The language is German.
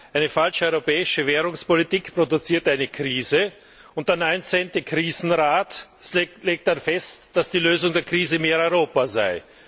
Eine falsche europäische Währungspolitik produziert eine Krise, und der 19. Krisenrat legt dann fest, dass die Lösung der Krise mehr Europa sei.